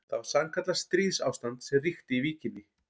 Það var sannkallað stríðsástand sem ríkti í Víkinni.